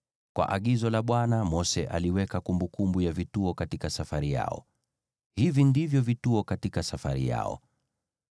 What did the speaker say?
Kwa agizo la Bwana , Mose aliweka kumbukumbu ya vituo katika safari yao. Hivi ndivyo vituo katika safari yao: